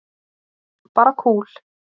Bara kúl.